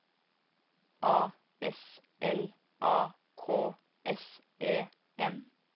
A S L A K S E N